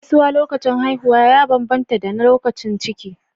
Gaisuwa lokacin haihuwa ya bambanta da na lokacin ciki.